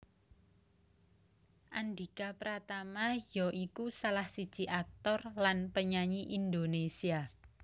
Andhika Pratama ya iku salah siji aktor lan penyanyi Indonésia